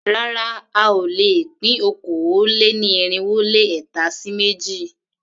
Rárá a ò lè pín okòó-lé-ní-irínwó-lé-ẹ̀ta sí méjì.